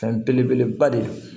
Fɛn belebeleba de ye